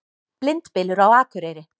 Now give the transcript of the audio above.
Blindbylur á Akureyri